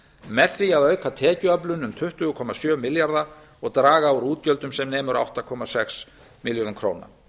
með því að auka tekjuöflun um tuttugu komma sjö milljarða króna og draga úr útgjöldum sem nemur um átta komma sex milljörðum króna